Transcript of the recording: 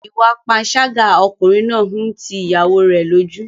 Ìwà panṣágà ọkùnrin náà ń ti ìyàwóo rẹ̀ lójú.